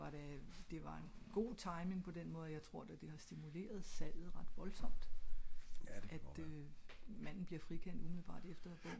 var det det var god timing på den måde at jeg tror det har stimuleret salget ret voldsomt at øh manden bliver frikendt